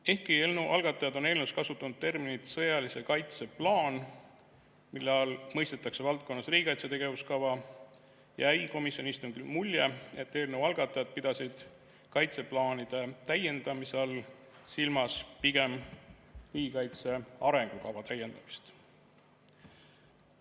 Ehkki eelnõu algatajad on eelnõus kasutanud terminit "sõjalise kaitse plaan", mille all mõistetakse valdkonnas riigikaitse tegevuskava, jäi komisjoni istungil mulje, et eelnõu algatajad pidasid kaitseplaanide täiendamise all silmas pigem riigikaitse arengukava täiendamist.